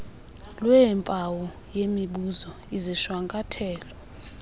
lweempawu yemibuzo izishwankathelo